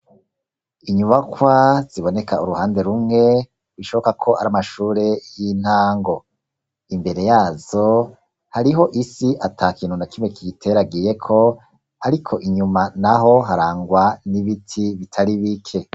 Inyubakwa ziboneka uruhande rumwe, bishobokako ar'amashure y'intango, imbere yazo hariho isi atakintu nakimwe kiyiteragiyeko ariko inyuma naho harangwa n'ibiti bitari bike.